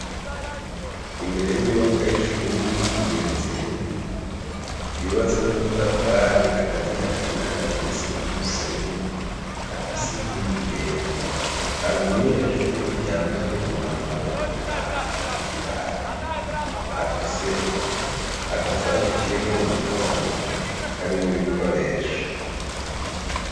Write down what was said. Imbere y'inyubako y'ishuri igeretse rimwe yubatse n'amatafari akazi hagati n'aagati n'isima n'umusenyi afise inkingi yera hari umunyeshuri yambaye umwambaro umuranga n'ibirato afise agasaho kiwe mu muge ongo karimwo ibikoresho.